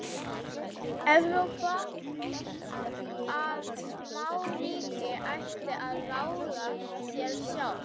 Evrópu, að smáríki ættu að ráða sér sjálf.